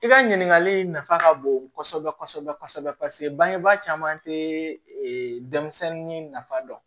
I ka ɲininkali in nafa ka bon kosɛbɛ kosɛbɛ paseke bangebaa caman tɛ denmisɛnnin nafa dɔn